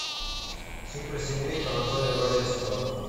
суперсемейка анатолия валевского